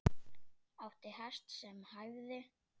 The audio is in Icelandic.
Átti hest sem hæfði.